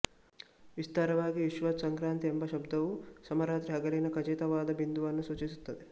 ವಿಸ್ತಾರವಾಗಿ ವಿಷುವತ್ ಸಂಕ್ರಾಂತಿ ಎಂಬ ಶಬ್ದವು ಸಮರಾತ್ರಿಹಗಲಿನ ಖಚಿತವಾದ ಬಿಂದುವನ್ನು ಸೂಚಿಸುತ್ತದೆ